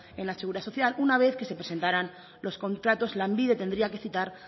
en la seguridad social una vez que se presentaran los contratos lanbide tendría que citar